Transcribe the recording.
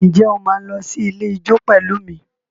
Ǹjẹ́ o máa lọ sí ilé ijó pẹ̀lú mi?